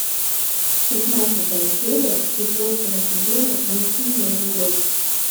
шестнадцатая серия четвертого сезона мультфильма изгой